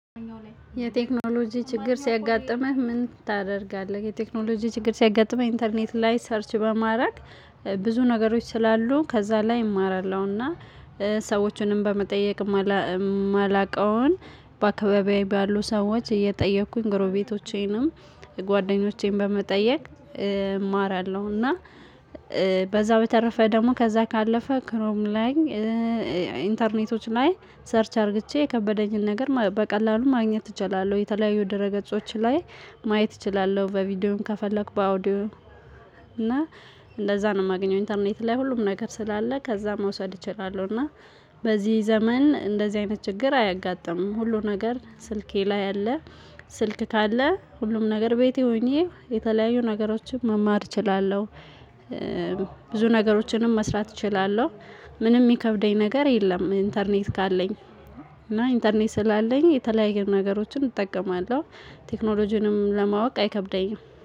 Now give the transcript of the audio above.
የቴክኖሎጂ ችግር ሲያጋጥምህ ምን ታደርጋለህ? የቴክኖሎጂ ችግር ሲያጋጥምህ ኢንተርኔት ላይ ሰርች በማድረግ እ ብ ብዙ ነገሮች ስላሉ ከዛ ላይ እማራለሁና እ ሰዎቹንም በመጠየቅ እማላ እማላውቀውን በአካባቢዬ ባሉ ሰዎች እየጠየኩኝ ጎረቤቶቼንም ጓደኞቼን በመጠየቅ እማራለሁ። እና እ በዛው የተረፈ ደግሞ ከዛ ካለፈ ክሮም ላይ እ ኢንተርኔቶች ላይ ሰርች አርግቼ የከበደኝን ነገር ማ በቀላሉ ማግኘት እችላለሁ የተለያዩ ድረ ገጾች ላይ ማየት እችላለሁ። በቪዲዮም ከፈለኩ በአውዲዮ እና እንደዛ ነው የማገኘው። ኢንተርኔት ላይ ሁሉም ነገር ስላለ ከዛ መውሰድ እችላለሁ። እና በዚህ ዘመን እንደዚህ አይነት ችግር አያጋጥምም ሁሉ ነገር ስልኬ ላይ አለ። ስ ስልክ ካለ ሁሉም ነገር ቤቴ ሆኜ የተለያዩ ነገሮችን መማር እችላለሁ። እ ብዙ ነገሮችንም መስራት እችላለሁ። ምንም ሚከብደኝ ነገር የለም። ኢንተርኔት ካለኝ እና ኢንተርኔት ስላለኝ የተለያየ ነገሮችን እጠቀማለሁ ቴክኖሎጂንም ለማወቅ አይከብደኝም